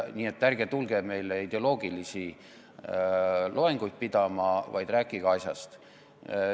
Nii et ärge tulge meile ideoloogilisi loenguid pidama, vaid rääkige asjast.